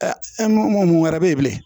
mun wɛrɛ bɛ ye bilen